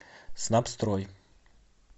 снабстрой